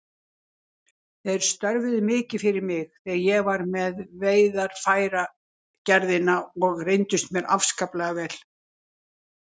Þeir störfuðu mikið fyrir mig þegar ég var með Veiðarfæragerðina og reyndust mér afskaplega vel.